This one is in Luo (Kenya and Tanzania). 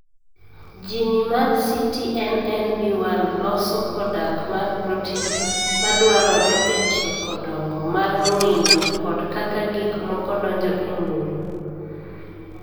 Jini mar CTNNB1 loso kodak mar protein madwarore e chiko dongo mar ng'injo kod kaka gik moko donjo e ng'injo.